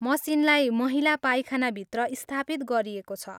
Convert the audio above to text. मसिनलाई महिला पाइखानाभित्र स्थापित गरिएको छ।